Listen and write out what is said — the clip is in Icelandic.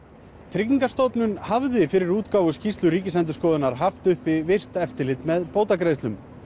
tryggingastofnun hafði fyrir útgáfu skýrslu Ríkisendurskoðunar haft virkt eftirlit með bótagreiðslum